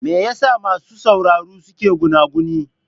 Me yasa masu sauraro ke gunaguni?